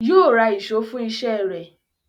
Yóò ra ìṣó fún iṣẹ́ rẹ̀